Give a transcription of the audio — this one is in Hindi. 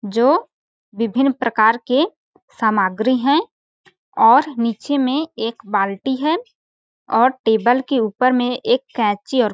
जो विभिन्न प्रकार के सामग्री है और नीचे में एक बाल्टी है और टेबल के ऊपर में एक कैची और--